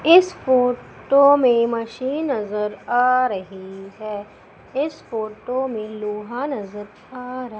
इस फोटो में मशीन अगर आ रही है इस फोटो में लोहा नजर आ र--